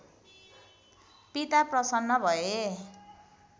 पिता प्रसन्न भए